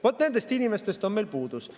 Vaat nendest inimestest on meil puudus.